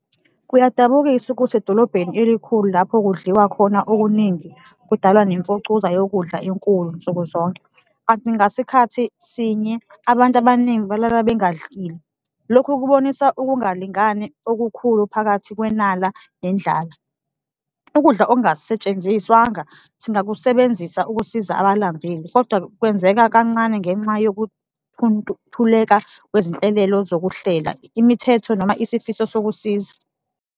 Kuyadabukisa ukuthi edolobheni elikhulu lapho kudliwa khona okuningi, kudalwa nemfucuza yokudla enkulu nsuku zonke, kanti ngasikhathi sinye abantu abaningi balala bengadlile, lokhu kubonisa ukungalingani okukhulu phakathi kwenala nendlala. Ukudla okungasetshenziswanga singakusebenzisa ukusiza abalambile kodwa-ke kwenzeka kancane ngenxa kwezinhlelelo zokuhlela imithetho noma isifiso sokusiza.